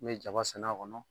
N bɛ jaba sɛnɛ a kɔnɔ.